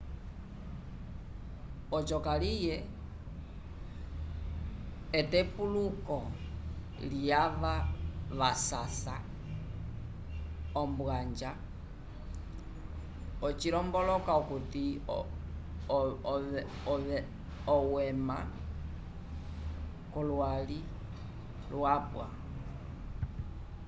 oco kaliye etepuluko lyava vasasa ombwanja acilomboloka okuti owema k'olwali lwapwa